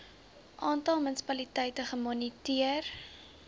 aantal munisipaliteite gemoniteer